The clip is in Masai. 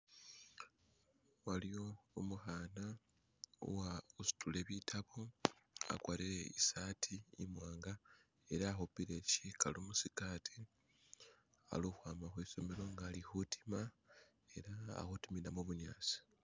waliwo umuhana uwa usitile bitabu akwarire isati imwanga ela ahupile shikalu musikati ali hwaba husomelo nga ali hutima ela alihutimila mubunyasi